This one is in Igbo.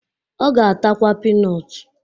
Ọ ga-atakwa pinọt